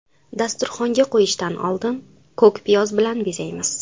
Dasturxonga qo‘yishdan oldin ko‘k piyoz bilan bezaymiz.